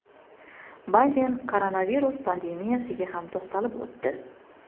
Bayden koronavirus pandemiyasiga ham to‘xtalib o‘tdi.